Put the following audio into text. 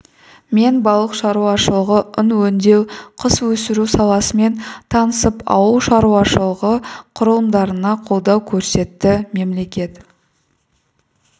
мен балық шаруашылығы ұн өңдеу құс өсіру саласымен танысып ауыл шаруашылығы құрылымдарына қолдау көрсетті мемлекет